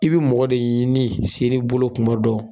I bi mɔgɔ de yini se ri bolo tuma dɔ